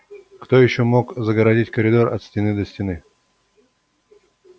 кто ещё мог загородить коридор от стены до стены